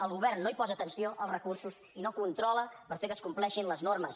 el govern no hi posa atenció als recursos i no controla per fer que es compleixin les normes